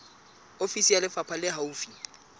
ofisi ya lefapha le haufi